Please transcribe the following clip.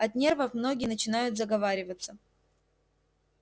от нервов многие начинают заговариваться